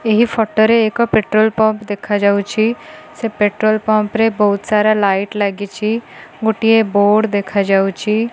ଏହି ଫୋଟୋ ରେ ଏକ ପେଟ୍ରୋଲ ପମ୍ପ ଦେଖାଯାଉଛି ସେ ପେଟ୍ରୋଲ ପମ୍ପରେ ବହୁତ ସାରା ଲାଇଟ ଲାଗିଛି ଗୋଟିଏ ବୋର୍ଡ଼ ଦେଖାଯାଉଛି।